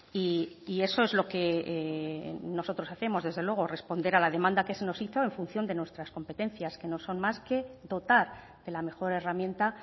y eso es lo que nosotros hacemos desde luego responder a la demanda que se nos hizo en función de nuestras competencias que no son más que dotar de la mejor herramienta